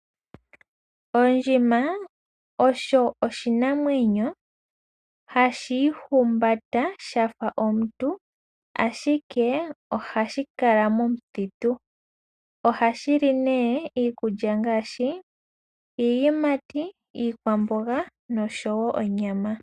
Ondjima osho oshinamwemyo hashi ihumbata shafa omuntu ashike ohashi kala momuthitu. Ohashi li nee iikulya ngaashi iiyimati, iikwamboga noshowo onyama.